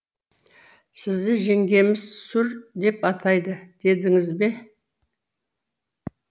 сізді жеңгеміз сур деп атайды дедіңіз бе